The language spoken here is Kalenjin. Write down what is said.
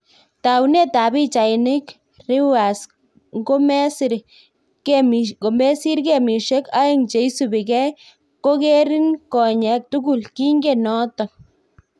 Taunet ab pichainik, Reuers " ngomesiir gemishek aeng cheisubigei kogerin konyeek tugul- kingen noto